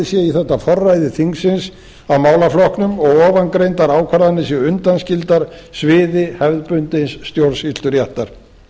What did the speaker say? sé í þetta forræði þingsins á málaflokknum og ofangreindar ákvarðanir séu undanskildar sviði hefðbundins stjórnsýsluréttar